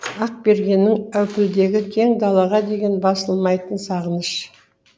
ақбергеннің әупілдегі кең далаға деген басылмайтын сағыныш